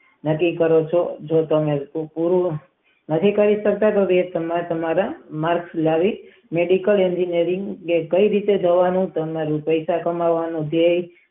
નકી કરે ચાર જે તેને નથી કહી સકતા કે ને કે રીતે તેનું મન રૂપિયા કમાવાનું છે.